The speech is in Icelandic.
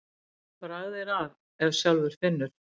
Bragð er að ef sjálfur finnur.